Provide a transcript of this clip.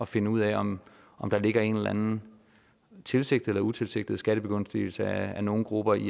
finde ud af om der ligger en tilsigtet eller utilsigtet skattebegunstigelse af nogle grupper i